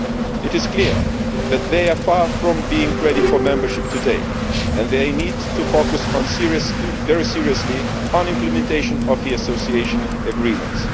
It is clear that they are far from ready for membership today and that they need to focus very seriously on implementation of the Association Agreements.